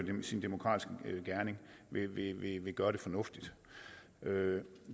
sin demokratiske gerning vil gøre det fornuftigt